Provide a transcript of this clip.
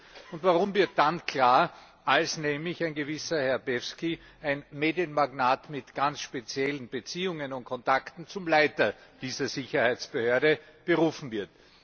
Der Grund hierfür wird dann klar, als nämlich ein gewisser Herr Peevski, ein Medienmagnat mit ganz speziellen Beziehungen und Kontakten, zum Leiter dieser Sicherheitsbehörde berufen wird.